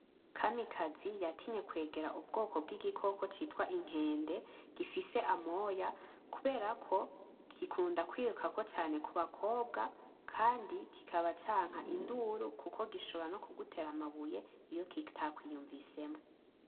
Kamikazi yatinye kwegera ubwoko bw'igikoko citwa inkende gifise amoya kubera ko gikunda kwirukako cane ku bakobwa kandi kikaba canka induru kuko gishobora no kugutera amabuye iyo kitakwiyunvisemwo.